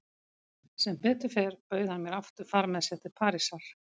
Sem betur fer bauð hann mér aftur far með sér til Parísar.